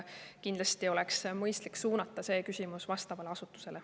Kindlasti oleks mõistlik suunata see küsimus vastavale asutusele.